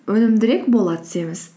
өнімдірек бола түсеміз